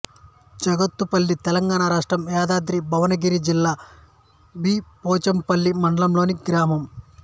జగత్తుపల్లి తెలంగాణ రాష్ట్రం యాదాద్రి భువనగిరి జిల్లా బి పోచంపల్లి మండలంలోని గ్రామం